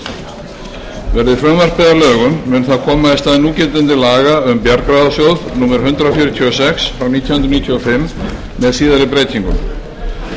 að lögum mun það koma í stað núgildandi laga um bjargráðasjóð númer hundrað fjörutíu og sex nítján hundruð níutíu og fimm með síðari breytingum með